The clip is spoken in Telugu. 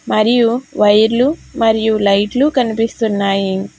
మరియు వైర్లు మరియు లైట్లు కనిపిస్తున్నాయి.